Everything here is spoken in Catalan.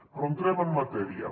però entrem en matèria